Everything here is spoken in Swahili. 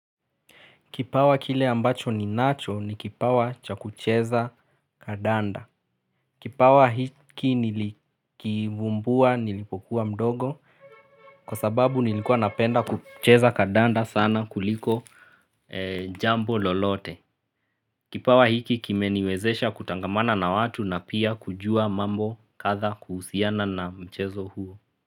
Kipawa kile ambacho ninacho ni kipawa cha kucheza kadanda. Kipawa hiki nilikivumbua nilipokuwa mdogo kwa sababu nilikuwa napenda kucheza kandanda sana kuliko jambo lolote. Kipawa hiki kimeniwezesha kutangamana na watu na pia kujua mambo kadha kuhusiana na mchezo huo.